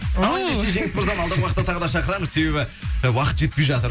ендеше жеңіс мырза алдағы уақытта тағы да шақырамыз себебі уақыт жетпей жатыр